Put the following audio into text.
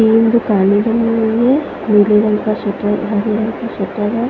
इन्दु पानी बनी हुई है नीले रंग का शेटर है हरे रंग का शेटर है।